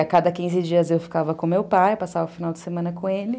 A cada quinze dias eu ficava com meu pai, passava o final de semana com ele.